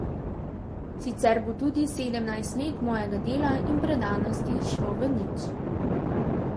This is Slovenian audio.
Sicer bo tudi sedemnajst let mojega dela in predanosti šlo v nič.